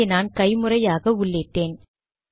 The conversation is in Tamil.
இதை நான் கைமுறையாக உள்ளிட்டேன்